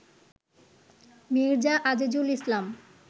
Mirza Azizul Islam